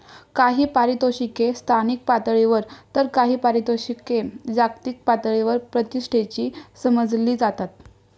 काही पारितोषिके स्थानिक पातळीवर तर काही पारितोषिके जागतिक पातळीवर प्रतिष्ठेची समजली जातात.